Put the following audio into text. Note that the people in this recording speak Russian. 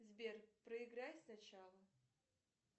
сбер проиграй сначала